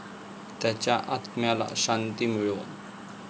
त्याच्या आत्म्याला शांती मिळो.